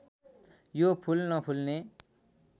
यो फूल नफुल्ने